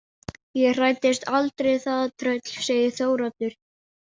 Ég hræddist aldrei það tröll, segir Þóroddur.